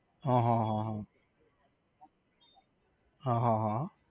હ હ હ હ હ હ